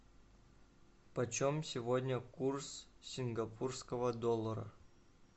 почем сегодня курс сингапурского доллара